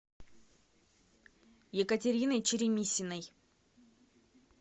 екатериной черемисиной